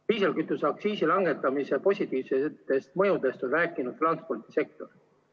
Diislikütuse aktsiisi langetamise positiivsetest mõjudest on rääkinud transpordisektor.